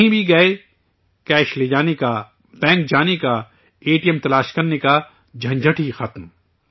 کہیں بھی گئے، کیش لے جانے کا، بینک جانے کا، اے ٹی ایم کھوجنے کا، جھنجھٹ ہی ختم